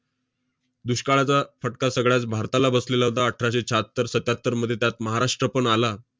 दुष्काळाचा फटका सगळ्याच भारताला बसलेला होता, अठराशे शहात्तर- सत्त्यातरमध्ये. त्यात महाराष्ट्र पण आला.